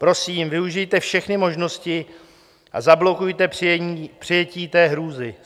Prosím, využijte všechny možnosti a zablokujte přijetí té hrůzy.